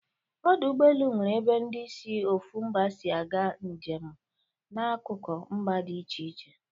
Ọdọ ụgbọelu nwere ebe ndi si ofu mba si aga njemu n'akuku mba dị iche iche